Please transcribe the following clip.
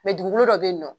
dugukolo dɔ bɛ yen nɔ